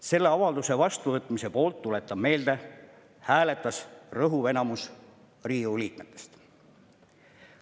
Selle avalduse vastuvõtmise poolt – tuletan meelde – hääletas rõhuv enamus Riigikogu liikmetest.